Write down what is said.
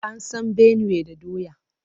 An san Benue da doya.